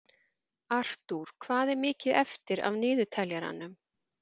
Artúr, hvað er mikið eftir af niðurteljaranum?